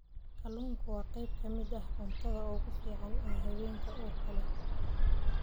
Kalluunku waa qayb ka mid ah cuntada ugu fiican ee haweenka uurka leh.